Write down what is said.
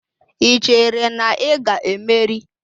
Ị chere na ị ga-emeri?